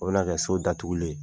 O bɛna kɛ so datugulen ye